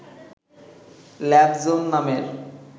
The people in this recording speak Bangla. ল্যাব-জোন নামের